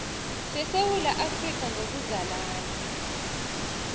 sesewula afrika ngokuzalana